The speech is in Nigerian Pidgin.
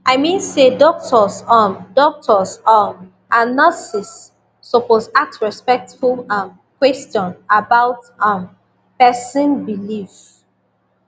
i mean say doctors um doctors um and nurses suppose ask respectful um question about um person belief